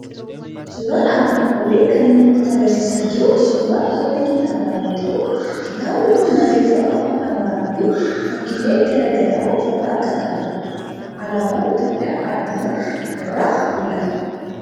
Suuraan armaan olii kan inni nutti argisiisaa jiru suuraa qola kitaabaa yoo ta'u, kitaabni kun barreeffama afaan Amaaraa fu fakkiilee garaa garaa ofirraa kan qabudha. Alaabaan Itoophiyaa addumatti irraa mul'ata.